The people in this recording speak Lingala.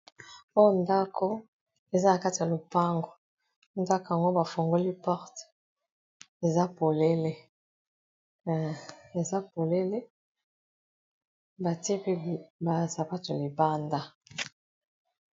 oyo ndako eza nakati ya lopango ndako yango bafungoli porte eza polele batiepe basa bato libanda